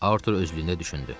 Artur özlüyündə düşündü.